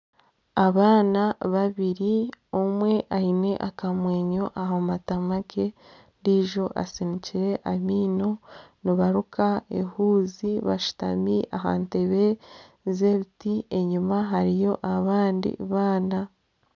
Abaana babiri omwe aine akamwenyo aha matama ge, ondiijo asinikire amaino, nibaruka ehuuzi bashutami aha ntebe z'ebiti enyima hariyo abandi baana